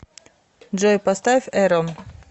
джой поставь э рон